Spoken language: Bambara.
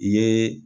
I ye